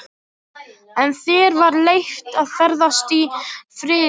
En þér var leyft að ferðast í friði.